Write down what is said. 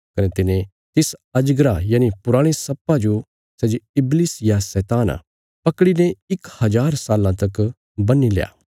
कने तिने तिस अजगरा यनि पुराणे सर्पा जो सै जे इबलिश या शैतान आ पकड़ीने इक हज़ार साल्लां तक बन्हीत्या